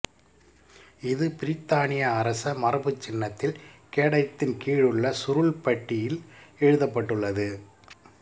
இது பிரித்தானிய அரச மரபுச்சின்னத்தில் கேடயத்தின் கீழுள்ள சுருள்பட்டியில் எழுதப்பட்டுள்ளது